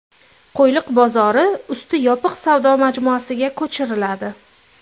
Qo‘yliq bozori usti yopiq savdo majmuasiga ko‘chiriladi.